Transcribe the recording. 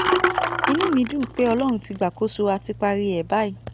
inú mi dùn pé ọlọ́run ti gbàkóso á ti parí ẹ̀ báyìí